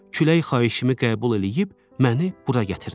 Külək xahişimi qəbul eləyib məni bura gətirdi.